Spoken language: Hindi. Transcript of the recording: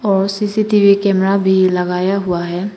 और सी_सी_टी_वी कैमरा भी लगाया हुआ है।